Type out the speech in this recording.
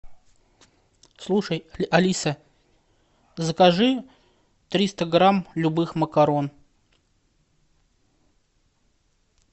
слушай алиса закажи триста грамм любых макарон